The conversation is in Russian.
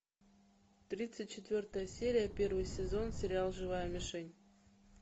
тридцать четвертая серия первый сезон сериал живая мишень